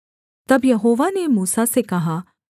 तब यहोवा ने मूसा से कहा